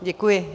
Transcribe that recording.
Děkuji.